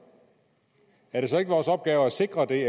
er det så ikke vores opgave at sikre det